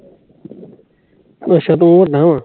ਅੱਛਾ ਤੂੰ ਵੱਡਾ ਵਾ